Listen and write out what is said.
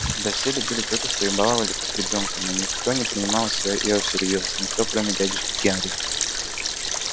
да все любили тётушку и баловали как ребёнка но никто не принимал её всерьёз никто кроме дядюшки генри